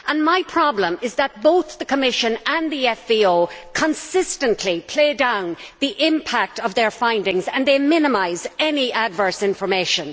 My problem is that both the Commission and the FVO consistently play down the impact of their findings and they minimise any adverse information.